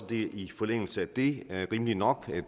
det i forlængelse af det er rimeligt nok